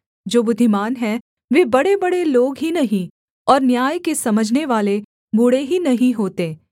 जो बुद्धिमान हैं वे बड़ेबड़े लोग ही नहीं और न्याय के समझनेवाले बूढ़े ही नहीं होते